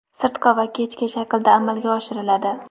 sirtqi va kechki shaklda amalga oshiriladi.